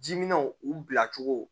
Jiminɛnw u bila cogo